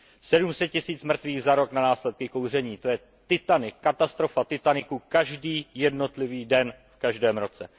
Sedm set tisíc mrtvých za rok na následky kouření, to je Titanik, katastrofa Titaniku každý jednotlivý den v každém roce.